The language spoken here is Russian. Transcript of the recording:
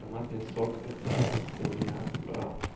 томатный сок это ссанина бобра